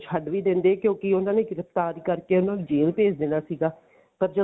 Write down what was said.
ਛੱਡ ਵੀ ਦਿੰਦੇ ਕਿਉਂਕਿ ਉਹਨਾ ਨੇ ਗ੍ਰਿਫਤਾਰ ਕਰਕੇ ਉਹਨਾ ਨੂੰ ਜੇਲ ਭੇਜ ਦੇਣਾ ਸੀਗਾ ਪਰ ਜਦੋਂ